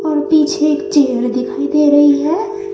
और पीछे एक चेयर दिखाई दे रही हैं।